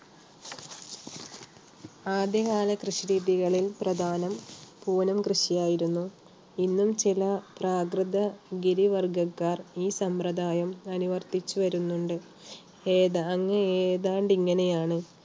ആദ്യകാല കൃഷി രീതികളിൽ പ്രധാനം പൂനം കൃഷിയായിരുന്നു. ഇന്നും ചില പ്രാകൃത ഗിരി വർഗ്ഗക്കാർ ഈ സമ്പ്രദായം അനുവർത്തിച്ചു വരുന്നുണ്ട്. ഏതാ~ഏതാണ്ട് ഇങ്ങനെയാണ്